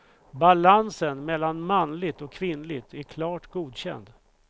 Balansen mellan manligt och kvinnligt är klart godkänd.